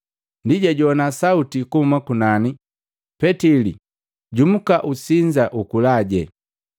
Ndi jajowana sauti kuhuma kunani, “Petili, jumuka usinza, ukulaje!”